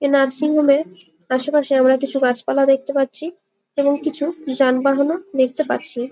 এই নার্সিংহোম এর আসে পাশে আমরা কিছু গাছ পালা দেখতে পাচ্ছি এবং কিছু যানবহনও দেখতে পাচ্ছি ।